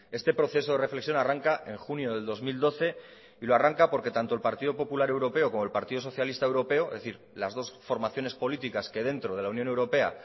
este proceso de reflexión arranca en junio del dos mil doce y lo arranca porque tanto el partido popular europeo como el partido socialista europeo es decir las dos formaciones políticas que dentro de la unión europea